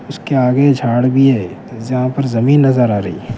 اس کے اگے جھاڑ بھی ہے جہاں پر زمین نظر ارہی ہے.